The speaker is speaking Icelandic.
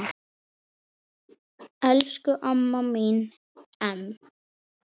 Elsku amma mín Em.